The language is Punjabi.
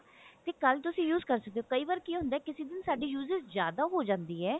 ਤੇ ਕੱਲ ਤੁਸੀਂ use ਕਰ ਸਕਦੇ ਹੋ ਪਰ ਕੀ ਹੁੰਦਾ ਕਿਸੇ ਦਿਨ ਸਾਡੀ usage ਜਿਆਦਾ ਹੋ ਜਾਂਦੀ ਹੈ